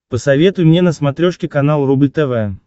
посоветуй мне на смотрешке канал рубль тв